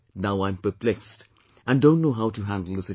Now I'm perplexed and don't know how to handle the situation